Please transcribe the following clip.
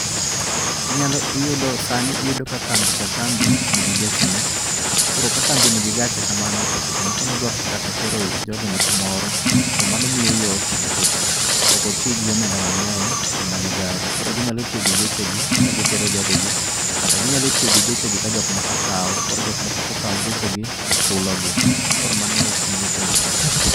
Inyalo iyudo sani iyudo ka kambi ka kambi nigi gechene. Koro ka kambi nigi gache kamano to seche nodwa kata tero jogene kumoro to mano miye yot nikech ok otii gi omenda mang'eny e manyo gari. Koro ginyalo tiyo gi geche gi ka gitero jogegi, kata ginyalo tiyo gi geche gi ka jok moko kaw. Koro jok moko kokaw gechegi to chulogi, koro mano